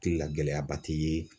Tikila gɛlɛyaba ti ye.